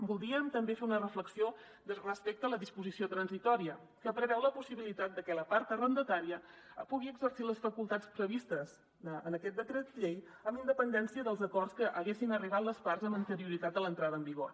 voldríem també fer una reflexió respecte a la disposició transitòria que preveu la possibilitat de que la part arrendatària pugui exercir les facultats previstes en aquest decret llei amb independència dels acords a què haguessin arribat les parts amb anterioritat a l’entrada en vigor